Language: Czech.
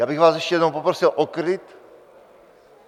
Já bych vás ještě jednou poprosil o klid!